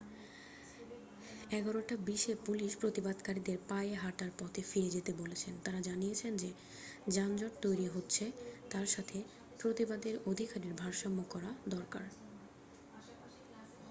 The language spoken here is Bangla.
11:20 এ পুলিশ প্রতিবাদকারীদের পায়ে হাটার পথে ফিরে যেতে বলেছেন তারা জানিয়েছেন যে যানজট তৈরী হচ্ছে তার সাথে প্রতিবাদের অধিকারের ভারসাম্য করা দরকার